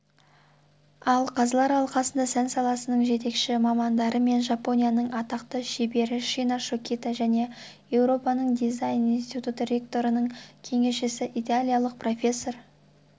ал қазылар алқасында сән саласының жетекші мамандары мен жапонияның атақты шебері шина шокита және еуропаның дизайн институты ректорының кеңесшісі итальялық профессор